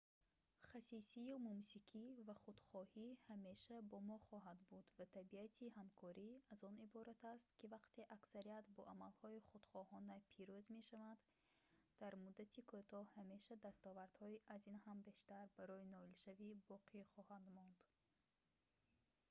хасисию мумсикӣ ва худхоҳӣ ҳамеша бо мо хоҳад буд ва табиати ҳамкорӣ аз он иборат аст ки вақте аксарият бо амалҳои худхоҳона пирӯз мешаванд дар муддати кӯтоҳ ҳамеша дастовардҳои аз ин ҳам бештар барои ноилшавӣ боқӣ хоҳанд монд